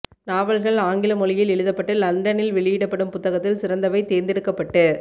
நாவல்கள் ஆங்கில மொழியில் எழுதப்பட்டு லண்டனில் வெளியிடப்படும் புத்தகத்தில் சிறந்தவை தேர்ந்தெடுக்கப்பட்டு